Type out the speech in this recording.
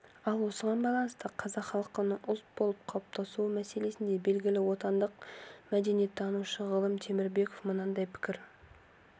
ал осыған байланысты қазақ халқының ұлт болып қалыптасуы мәселесінде белгілі отандық мәдениеттанушы ғалым темірбеков мынадай пікір